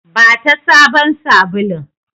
Bata sabon sabulun!